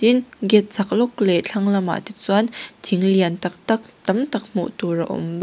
gate chhak lawk leh thlang lamah te chuan thing lian tâk tâk tam tak hmuh tur a awm baw--